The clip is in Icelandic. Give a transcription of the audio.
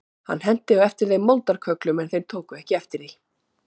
Hann henti á eftir þeim moldarkögglum en þeir tóku ekki eftir því.